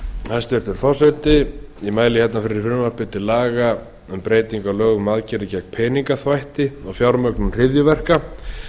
hæstvirtur forseti ég mæli hér fyrir frumvarpi til laga um breyting á lögum um aðgerðir gegn peningaþvætti og fjármögnun hryðjuverka